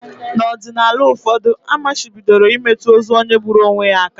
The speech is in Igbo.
N’ọdịnala ụfọdụ, a machibidoro imetụ ozu onye gburu onwe ya aka